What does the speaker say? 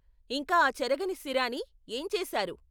ఇంకా ఆ చెరగని సిరాని ఏం చేసారు?